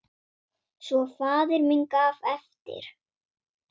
Svo faðir minn gaf eftir!